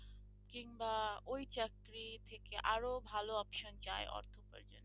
কিংবা ওই চাকরি থেকে আরো ভালো option চাই অর্থ উপার্জনের।